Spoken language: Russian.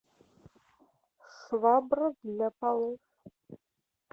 швабра для полов